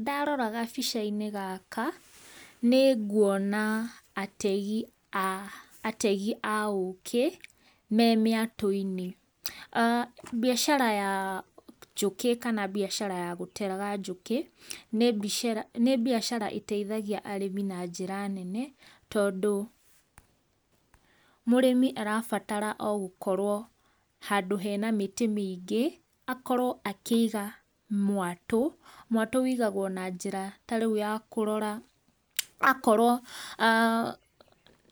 Ndarora gabica-inĩ gaka nĩ nguona ategi a ategi a ũkĩ me mĩatũ-inĩ. Mbiacara ya njũkĩ kana mbiacara ya gũtega njũkĩ, nĩ mbiacara ĩteithagia arĩmi na njĩra nene tondũ mũrĩmi arabatara o gũkorwo handũ hena mĩtĩ mĩingĩ, akorwo akĩiga mwatũ. Mwatũ wũigagwo na njĩra ta rĩu ya kũrora akorwo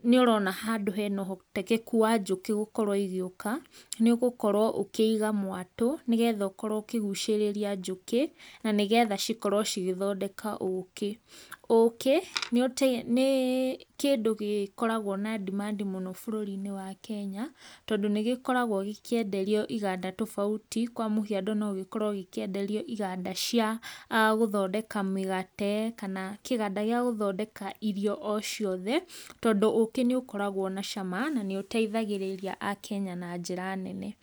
nĩ ũrona handũ hena ũhotekeku wa njũkĩ gũkorwo igĩũka, nĩ ũgũkorwo ũkĩiga mwatũ nĩgetha ũkorwo ũkĩgucĩrĩria njũkĩ, na nĩgetha cikorwo cigĩthondeka ũkĩ. Ũkĩ nĩ kĩndũ gĩkoragwo na ndimandi mũno bũrũri-inĩ wa Kenya , tondũ nĩ gĩkoragwo gĩkĩenderio iganda tofauti kwa mũhiano no gĩkorwo gĩkĩenderio iganda cia gũthondeka mĩgate, kana kĩganda gĩa gũthondeka irio o ciothe, tondũ ũkĩ nĩ ũkoragwo na cama na nĩũteithagĩrĩria Akenya na njĩra nene.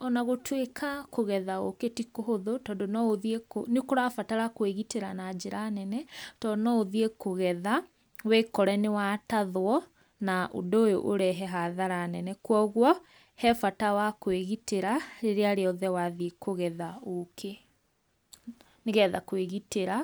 Ona gũtuĩka kũgetha ũkĩ ti kũhũthũ tondũ no ũthiĩ kũ nĩ kũrabatara kwĩgitĩra na njĩra nene, tondũ no ũthiĩ kũgetha wĩkore nĩ wa tathwo, na ũndũ ũyũ ũrehe hathara nene kwoguo he bata wa kwĩgitĩra rĩrĩa rĩothe wathiĩ kũgetha ũkĩ nĩgetha kwĩgitĩra.